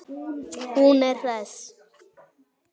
Hún er hress.